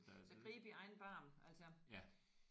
Så grib i egen barm altså